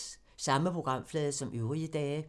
Samme programflade som øvrige dage